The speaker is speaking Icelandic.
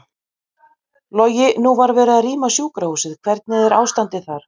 Logi: Nú var verið að rýma sjúkrahúsið, hvernig er ástandið þar?